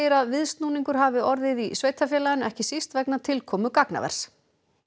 að viðsnúningur hafi orðið í sveitarfélaginu ekki síst vegna tilkomu gagnavers